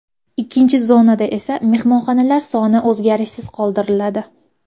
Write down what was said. Ikkinchi zonada esa mehmonxonalar soni o‘zgarishsiz qoldiriladi.